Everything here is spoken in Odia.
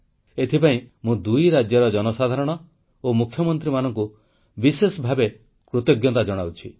ଏଥିପାଇଁ ମୁଁ ଦୁଇ ରାଜ୍ୟର ଜନସାଧାରଣ ଓ ମୁଖ୍ୟମନ୍ତ୍ରୀମାନଙ୍କୁ ବିଶେଷ ଭାବେ କୃତଜ୍ଞତା ଜଣାଉଛି